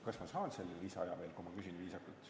Kas ma saan seda lisaaega veel, kui ma viisakalt küsin?